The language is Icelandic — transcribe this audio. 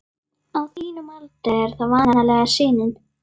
Á þínum aldri er það vanalega sinin.